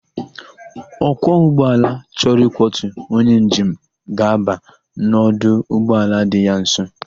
Ọkwọ ụgbọala chọrọ ịkwọtu onye njem ga-aba n' ọdụ ụgbọala dị ya nso.